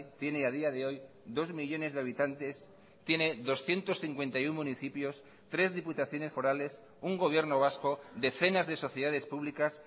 tiene a día de hoy dos millónes de habitantes tiene doscientos cincuenta y uno municipios tres diputaciones forales un gobierno vasco decenas de sociedades públicas